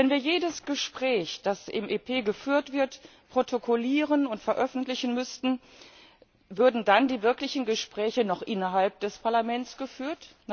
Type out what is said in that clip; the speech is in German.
Wenn wir jedes Gespräch, das im EP geführt wird, protokollieren und veröffentlichen müssten, würden dann die wirklichen Gespräche noch innerhalb des Parlaments geführt?